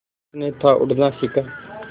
उसने था उड़ना सिखा